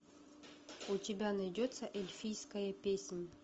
у тебя найдется эльфийская песнь